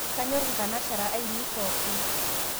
Kanyor nkanashara ainie pookin